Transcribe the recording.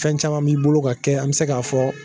Fɛn caman b'i bolo ka kɛ an bɛ se ka'a fɔ.